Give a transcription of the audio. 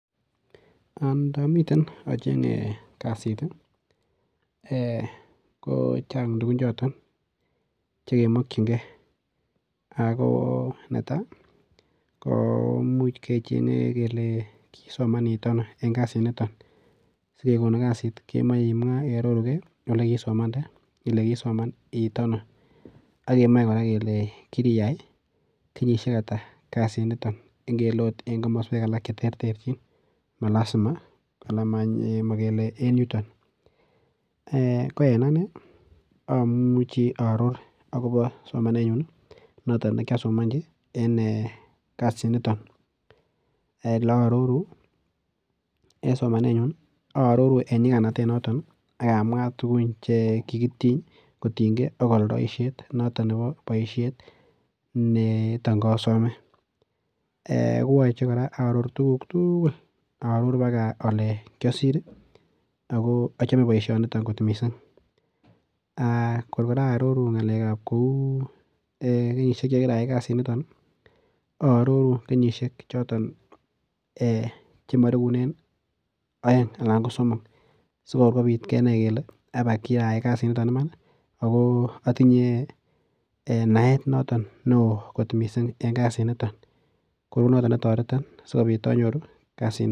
Ndamiten achenye kasit ko chang' tukuchoton chekemokchingei ako neto ko muuch kechenge ile kisoman iit ano eng' kasi niton sikekonin kasit kemoi imwa iarorugei ole kiisomande ile kisoman iit ano akemoi kora kele kiriiyai kenyishek ata kasi niton eng' ngele oot eng' komoswek alak cheterterchin malasima anan makele en nyuton ko en ane amuchi aaror akobo somanenyun noto nekyasomonji en kasi niton ole aaroru en somanenyun aaroru en nyikanatet noton akamwa tukuk che kikitiny kotinyei ak oldoishet noton nebo oldoishet neton kasome ko weche kora aaror tukuk tugul aaror mpaka ole kiyasir ako achome boishoniton kot mising' kor kora aaroru ng'alekab kou kenyishek chekiraai kasiniton aaroru kenyishek choton chemarekunen oeng' anan ko somok sikor kobit kenai kele kiriiyai kasi niton iman ako atinye naet noton neoo mising' eng' kasi niton kou noton netoreton sikobit anyor kasini